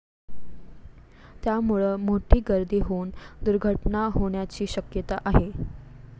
त्यामुळं मोठी गर्दी होऊन दुर्घटना होण्याची शक्यता आहे.